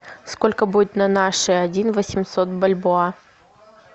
сколько будет на наши один восемьсот бальбоа